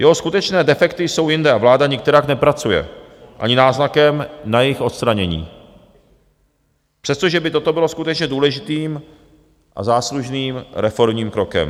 Jeho skutečné defekty jsou jinde a vláda nikterak nepracuje ani náznakem na jejich odstranění, přestože by toto bylo skutečně důležitým a záslužným reformním krokem.